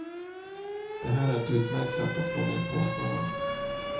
Det här är ett utmärkt sätt att få ned kostnaderna.